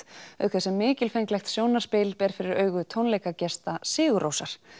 auk þess sem mikilfenglegt sjónarspil ber fyrir augu tónleikagesta Sigurrósar